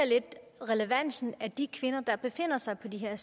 relevansen af de kvinder der befinder sig på de her